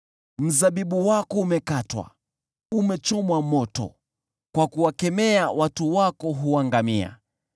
Mzabibu wako umekatwa, umechomwa moto, unapowakemea, watu wako huangamia.